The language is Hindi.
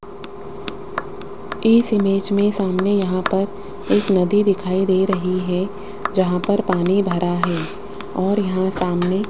इस इमेज में सामने यहां पर एक नदी दिखाई दे रही है जहां पर पानी भरा है और यहां सामने --